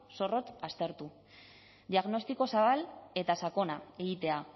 zorrotz aztertu diagnostiko zabal eta sakona egitea